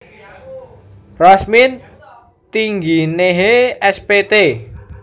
Rosmin Tingginehe S Pt